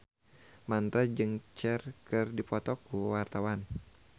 Mandra jeung Cher keur dipoto ku wartawan